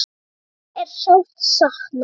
Afa er sárt saknað.